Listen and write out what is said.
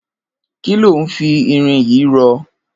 Kiló n fi irin yi rọ?